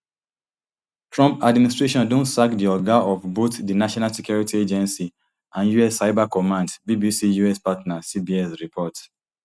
trump administration don sack di oga of both di national security agency and us cyber command bbc us partner cbs report